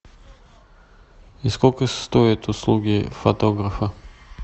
и сколько стоят услуги фотографа